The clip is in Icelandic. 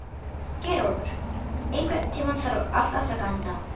Geirólfur, einhvern tímann þarf allt að taka enda.